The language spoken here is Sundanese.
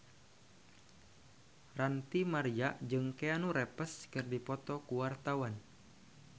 Ranty Maria jeung Keanu Reeves keur dipoto ku wartawan